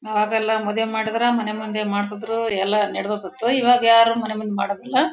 ಆಗಲ್ಲ ಮದುವೆ ಮಾಡಿದ್ರೆ ಮನೆ ಮುಂದೆ ಮಾಡಿಸಿದ್ರು ಎಲ್ಲ ನಡೆದು ಹೋಗ್ತಿತ್ತು ಇವಾಗ ಯಾರೂ ಮನೆ ಮುಂದೆ ಮಾಡಲ್ಲ.